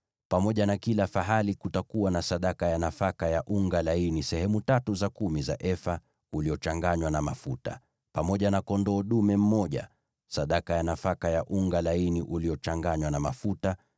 Pamoja na kila fahali, kutakuwa na sadaka ya nafaka ya unga laini sehemu tatu za kumi za efa, uliochanganywa na mafuta, pamoja na kondoo dume mmoja, sadaka ya nafaka ya unga laini uliochanganywa na mafuta;